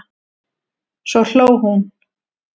Svo hló hún.